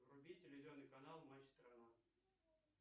вруби телевизионный канал матч страна